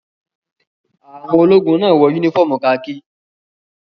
Àwọn ológun náà wọ únífọ́ọ́mù kakí.